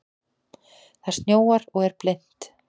Það snjóar og er blint.